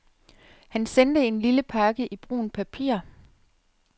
Han sendte en lille pakke i brunt papir.